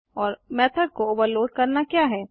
और मेथड को ओवरलोड करना क्या है